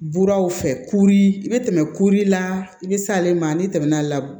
Buraw fɛ kuru i bɛ tɛmɛ kuru la i bɛ s'ale ma n'i tɛmɛna